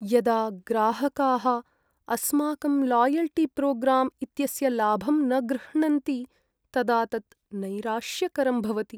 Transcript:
यदा ग्राहकाः अस्माकं लायल्टीप्रोग्राम् इत्यस्य लाभं न गृह्णन्ति तदा तत् नैराश्यकरं भवति।